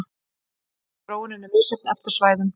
Þróunin er misjöfn eftir svæðum.